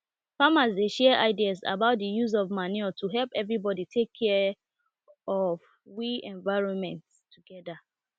farmers dey share ideas about the use of manure to help everybody take care of we environment together